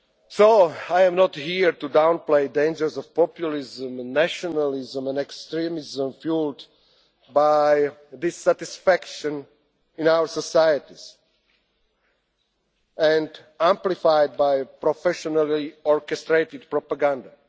So I am not here to downplay the dangers of populism, nationalism and extremism fuelled by dissatisfaction in our societies and amplified by professionally orchestrated propaganda.